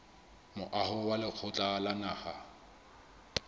moaho wa lekgotla la naha